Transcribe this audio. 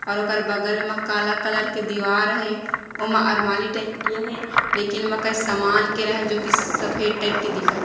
और ओकर बगल म काला कलर का दीवाल हे ओमा अरमाली टाइप के हे लेकिन ओमे कई सामान केरा हे जो सफ़ेद टाइप के दिखत--